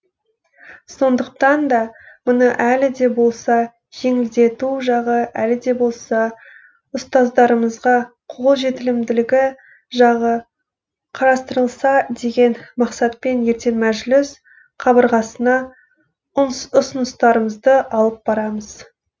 сондықтан да мұны әлі де болса жеңілдету жағы әлі де болса ұстаздарымызға қолжетілімділігі жағы қарастырылса деген мақсатпен ертең мәжіліс қабырғасына ұсыныстарымызды алып барамыз